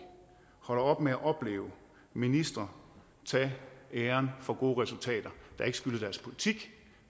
holder op med at opleve ministre tage æren for gode resultater der ikke skyldes deres politik